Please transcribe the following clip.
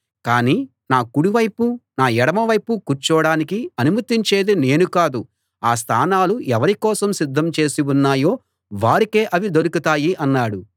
కాని నా కుడి వైపు నా ఎడమవైపు కూర్చోడానికి అనుమతించేది నేను కాదు ఆ స్థానాలు ఎవరి కోసం సిద్ధం చేసి ఉన్నాయో వారికే అవి దొరుకుతాయి అన్నాడు